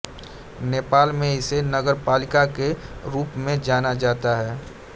नेपाल में इसे नगरपालिका के रूपमें जानाजाता हैं